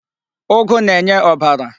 Ụgụ na-enye ọbara.